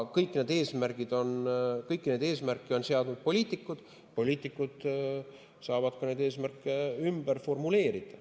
Kõiki neid eesmärke on seadnud poliitikud, poliitikud saavad neid eesmärke ka ümber formuleerida.